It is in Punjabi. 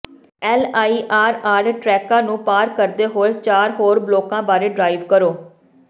ਐੱਲ ਆਈ ਆਰ ਆਰ ਟ੍ਰੈਕਾਂ ਨੂੰ ਪਾਰ ਕਰਦੇ ਹੋਏ ਚਾਰ ਹੋਰ ਬਲਾਕਾਂ ਬਾਰੇ ਡਰਾਇਵ ਕਰੋ